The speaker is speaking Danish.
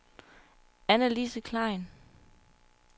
Annalise Klein